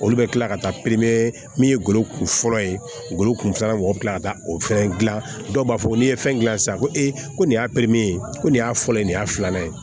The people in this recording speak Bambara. Olu bɛ kila ka taa min ye golo kun fɔlɔ ye golo kun filanan mɔgɔ kila ka taa o fɛn gilan dɔw b'a fɔ n'i ye fɛn gilan sisan ko ee ko nin y'a ye ko nin y'a fɔlɔ ye nin y'a filanan ye